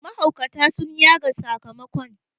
mahaukata sun yaga sakamakon